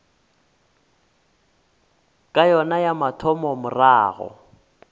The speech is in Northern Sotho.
ya yona ya mathomo morago